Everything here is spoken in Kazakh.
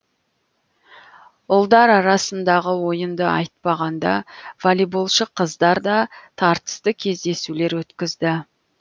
ұлдар арасындағы ойынды айтпағанда волейболшы қыздар да тартысты кездесулер өткізді